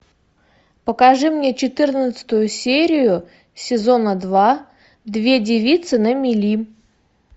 покажи мне четырнадцатую серию сезона два две девицы на мели